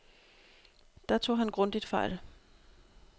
Der tog han grundigt fejl.